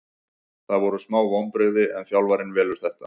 Það voru smá vonbrigði en þjálfarinn velur þetta.